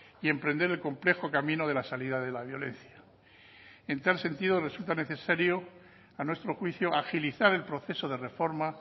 y emprender el complejo camino de la salida de la violencia en tal sentido resulta necesario a nuestro juicio agilizar el proceso de reforma